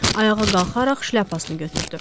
Ayağa qalxaraq şləpasını götürdü.